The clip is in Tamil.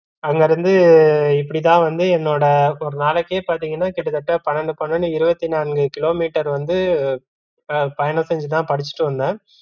அங்கிருந்து இப்படி தான் வந்து என்னோட ஒரு நாளைக்கே பாத்தீங்கன்னா கிட்டத்தட்ட பன்னண்டு, பன்னண்டு இருவத்தி நான்கு கிலோமீட்டர் வந்து அஹ் பயணம் செஞ்சு தா படிச்சிட்டு வந்தோம்